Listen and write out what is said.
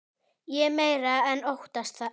Ég meira en óttast það.